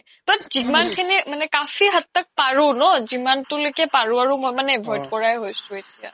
তৌ জিমান খিনি কাফি হাত তাক পাৰু ন জিমান তো লৈকে পাৰু মই মনে avoid কৰায়ে হৈছো এতিয়া